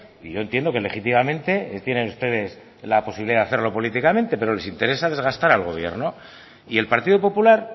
y yo entiendo que legítimamente tienen ustedes la posibilidad de hacerlo políticamente pero les interesa desgastar al gobierno y el partido popular